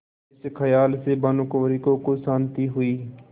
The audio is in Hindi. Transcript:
इस खयाल से भानुकुँवरि को कुछ शान्ति हुई